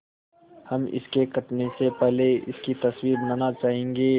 हम इसके कटने से पहले इसकी तस्वीर बनाना चाहेंगे